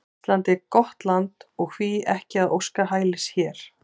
Ísland er gott land og hví ekki að óska hælis hér?